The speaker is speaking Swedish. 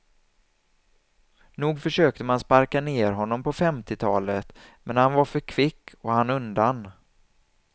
Nog försökte man sparka ner honom på femtiotalet men han var för kvick och hann undan.